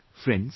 Friends,